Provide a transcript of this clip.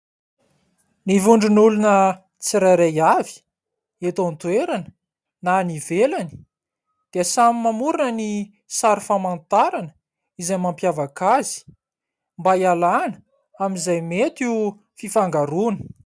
Ny vondron'olona tsirairay avy, eto an-toerana na any ivelany dia samy mamorona ny sary famantarana izay mampiavaka azy mba hialàna amin'izay mety ho fifangaroana.